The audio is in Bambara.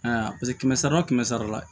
A y'a paseke kɛmɛ sara la o kɛmɛ sara la